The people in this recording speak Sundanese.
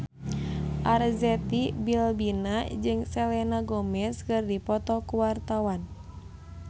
Arzetti Bilbina jeung Selena Gomez keur dipoto ku wartawan